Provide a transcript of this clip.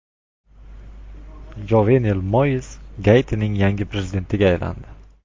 Jovenel Moiz Gaitining yangi prezidentiga aylandi.